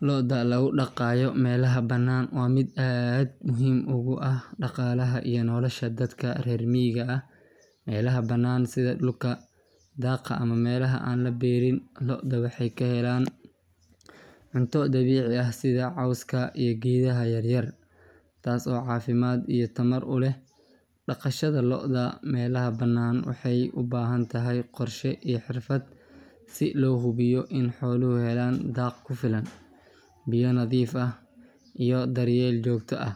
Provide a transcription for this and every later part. Looda lagu dhaqayo meelaha bannaan waa mid aad muhiim ugu ah dhaqaalaha iyo nolosha dadka reer miyiga ah. Meelaha bannaan sida dhulka daaqa ama meelaha aan la beeralin, lo’da waxay ka helaan cunto dabiici ah sida cawska iyo geedaha yaryar, taas oo caafimaad iyo tamar u leh. Dhaqashada lo’da meelaha bannaan waxay u baahan tahay qorshe iyo xirfad si loo hubiyo in xooluhu helaan daaq ku filan, biyo nadiif ah iyo daryeel joogto ah.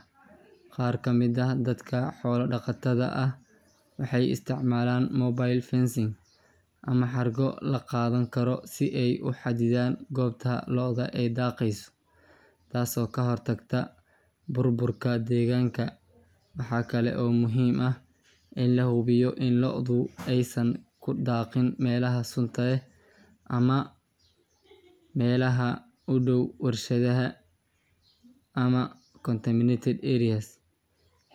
Qaar ka mid ah dadka xoolo-dhaqatada ah waxay isticmaalaan mobile fencing ama xargo la qaadan karo si ay u xaddidaan goobta lo’da ay daaqayso, taasoo ka hortagta burburka deegaanka. Waxaa kale oo muhiim ah in la hubiyo in lo’du aysan ku daaqin meelaha sunta leh ama meelaha u dhow warshadaha ama contaminated areas.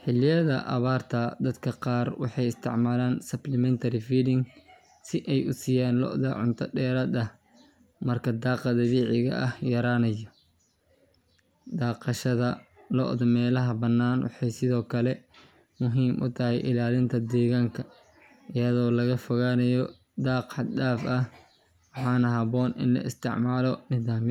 Xilliyada abaarta, dadka qaar waxay isticmaalaan supplementary feeding si ay u siiyaan lo’da cunto dheeraad ah marka daaqa dabiiciga ah yaraanayo. Dhaqashada lo’da meelaha bannaan waxay sidoo kale muhiim u tahay ilaalinta deegaanka iyadoo laga fogaanayo daaq xad dhaaf ah, waxaana habboon in la isticmaalo nidaamyo.